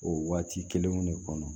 O waati kelenw de kɔnɔ